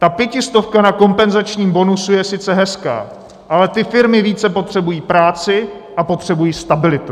Ta pětistovka na kompenzačním bonusu je sice hezká, ale ty firmy více potřebují práci a potřebují stabilitu.